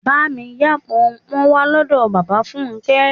Bá mi yá Pọnpọ́n wá lọ́dọ̀ bàbá Fúnké.